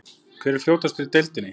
Hver er fljótastur í deildinni?